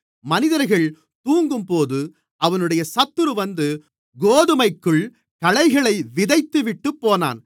மனிதர்கள் தூங்கும்போது அவனுடைய சத்துரு வந்து கோதுமைக்குள் களைகளை விதைத்துவிட்டுப்போனான்